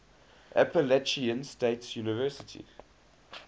appalachian state university